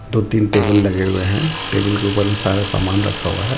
दो-तीन टेबल लगे हुए हे टेबल के ऊपर मे सारा सामान रखा हुआ हे.